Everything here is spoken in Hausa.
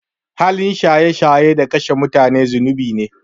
Halin shaye shaye da kashe mutane zunubi ne.